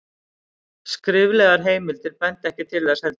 skriflegar heimildir benda ekki til þess heldur